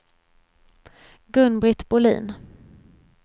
Gun-Britt Bohlin